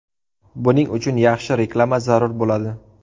Buning uchun yaxshi reklama zarur bo‘ladi.